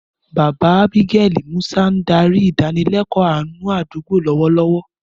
Bàbá Ábígẹ́lì, Musa, ń darí ìdánilẹ́kọ̀ọ́ àánú àdúgbò lọ́wọ́lọ́wọ́.